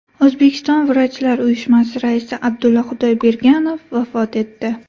O‘zbekiston vrachlar uyushmasi raisi Abdulla Xudoyberganov vafot etdi.